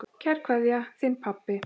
Kær kveðja, þinn pabbi.